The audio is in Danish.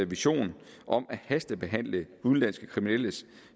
vision om at hastebehandle udenlandske kriminelles